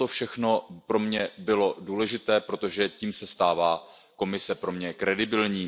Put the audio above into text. Toto všechno pro mě bylo důležité, protože tím se stává Komise pro mě důvěryhodná.